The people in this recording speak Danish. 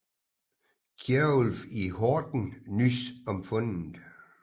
Kjerulf i Horten nys om fundet